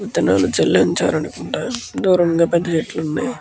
విత్తనాలు జల్లించారనుకుంటా దూరంగా పెద్ద చెట్లు ఉన్నాయి.